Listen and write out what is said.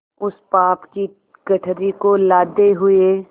उस पाप की गठरी को लादे हुए